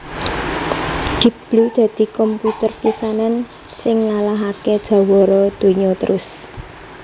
Deep Blue dadi komputer pisanan sing ngalahaké jawara donya terus